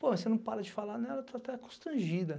Pô, mas você não para de falar nela, eu estou até constrangida.